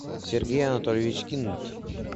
сергей анатольевич кинт